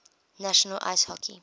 national ice hockey